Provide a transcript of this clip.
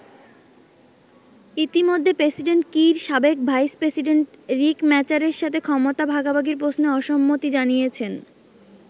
ইতিমধ্যে president Kiir সাবেক vice president Riek মাচারের সাথে ক্ষমতা ভাগাভাগির প্রশ্নে অসম্মতি জানিয়েছেন।